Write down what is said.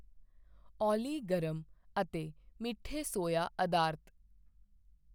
ਓਲੀ ਗਰਮ ਅਤੇ ਮਿੱਠੇ ਸੋਇਆ ਅਧਾਰਤ